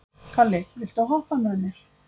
Kalli, viltu hoppa með mér?